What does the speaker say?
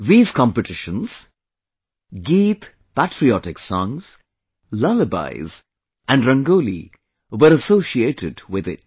These competitions, 'Geet' Patriotic Songs, 'Lullabies' and 'Rangoli' were associated with it